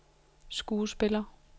skuespiller